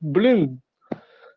блин